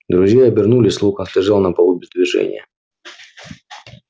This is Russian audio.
друзья обернулись локонс лежал на полу без движения